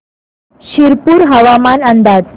शिरपूर हवामान अंदाज